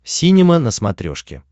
синема на смотрешке